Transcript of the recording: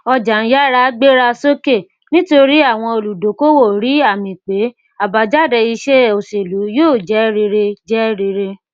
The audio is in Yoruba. ọjà ń yára gbéra sókè nítorí àwọn olùdókòwò rí àmì pé abájáde iṣẹ òṣèlú yóò jẹ rere jẹ rere